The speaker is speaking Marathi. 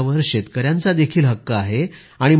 त्या नफ्यावर शेतकऱ्यांचा देखील हक्क आहे